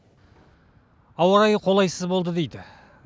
ауа райы қолайсыз болды дейді